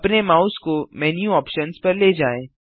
अपने माउस को menu options पर ले जाएँ